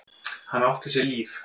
Hann átti sér líf.